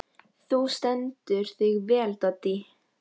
Þú stendur þig vel, Doddý!